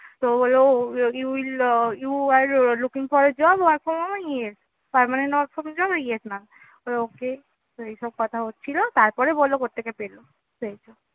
তো হলো you will ah you were looking for work from job আমি বললাম yes, permanent work from job yes mam বললো okay তো এই সব কথা হচ্ছিলো, তারপরে বললো কোথ থেকে পেলো পেয়েছো